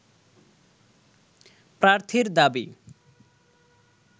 প্রার্থীর দাবি